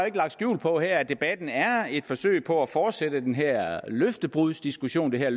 ikke lagt skjul på her at debatten er et forsøg på at fortsætte den her løftebrudsdiskussion det her